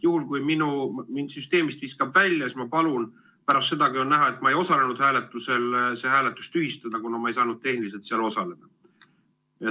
Juhul kui mind süsteemist viskab välja, siis ma palun pärast seda, kui on näha, et ma ei osalenud hääletusel, see hääletus tühistada, kuna ma ei saanud tehniliselt selles osaleda.